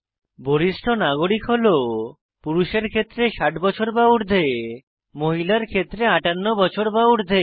বরিষ্ঠ নাগরিক হল পুরুষের ক্ষেত্রে 60 বছর বা ঊর্ধে মহিলার ক্ষেত্রে 58 বছর বা ঊর্ধে